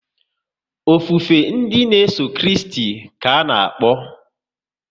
Ofufe ndị n'eso Kristi ka ana-akpọ